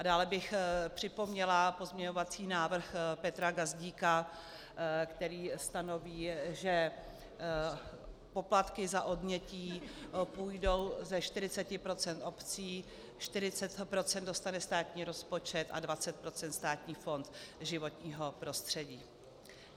A dále bych připomněla pozměňovací návrh Petra Gazdíka, který stanoví, že poplatky za odnětí půjdou ze 40 % obcím, 40 % dostane státní rozpočet a 20 % Státní fond životního prostředí.